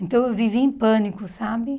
Então eu vivia em pânico, sabe?